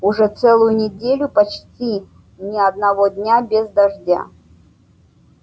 уже целую неделю почти ни одного дня без дождя